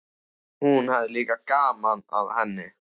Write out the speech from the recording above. Hún hafði líka gaman af henni.